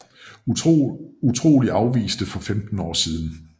Utrolig afviste for 15 år siden